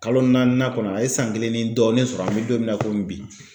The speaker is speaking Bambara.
Kalo naaninan kɔnɔ a ye san kelen ni dɔɔnin sɔrɔ an bɛ don min na komi bi.